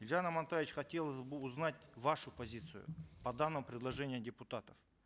елжан амантаевич хотелось бы узнать вашу позицию по данному предложению депутатов